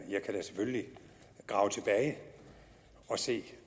jeg kan da selvfølgelig grave tilbage og se